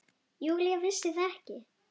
Júlía vissi það ekki.